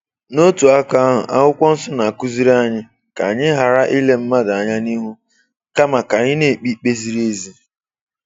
N’otu aka ahụ, Akwụkwọ Nsọ na-akụziri anyị ka anyị ghara ile mmadụ anya n’ihu, kama ka anyị na-ekpe ikpe ziri ezi.